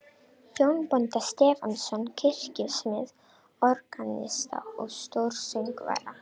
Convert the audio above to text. Jón bónda Stefánsson, kirkjusmið, organista og stórsöngvara.